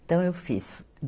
Então, eu fiz.